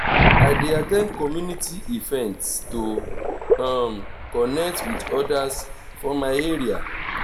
i dey at ten d community events to um connect with others for my area.